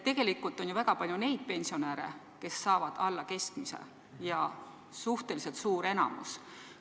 Tegelikult on väga palju neid pensionäre, kes saavad alla keskmise pensioni, neid on enamus.